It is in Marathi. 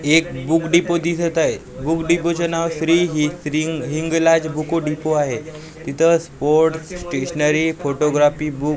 एक बुक डेपो दिसत आहे बुक डेपो चे नावाचे ही श्री हि श्री हिंगलाज बुको डेपो आहे तिथे स्पोर्ट स्टेशनरी फोटोग्राफी बुक --